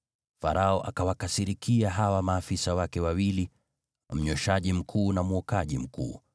Farao akawakasirikia hawa maafisa wake wawili, mnyweshaji mkuu na mwokaji mkuu,